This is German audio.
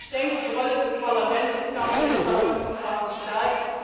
Ich denke, die Rolle des Parlaments ist nach dem Lissabon Vertrag gestärkt.